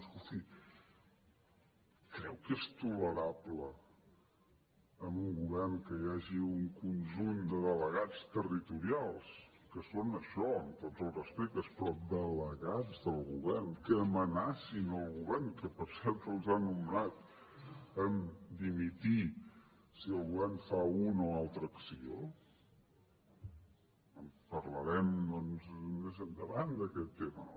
escolti creu que és tolerable en un govern que hi hagi un conjunt de delegats territorials que són això amb tots els respectes però delegats del govern que amenacin el govern que per cert els ha nomenat a dimitir si el govern fa una o altra acció en parlarem doncs més endavant d’aquest tema